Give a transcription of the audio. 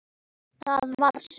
ÞAÐ VAR SELUR!